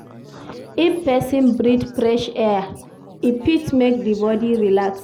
If persin breath fresh air e fit make di bodi relax